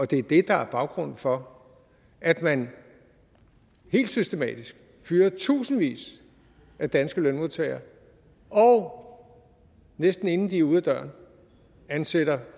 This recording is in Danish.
det er det der er baggrunden for at man helt systematisk fyrer tusindvis af danske lønmodtagere og næsten inden de er ude af døren ansætter